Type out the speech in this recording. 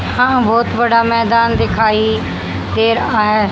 यहां बहुत बड़ा मैदान दिखाई दे रहा है।